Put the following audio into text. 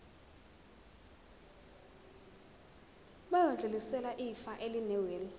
bayodlulisela ifa elinewili